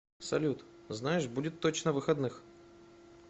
салют знаешь будет точно выходных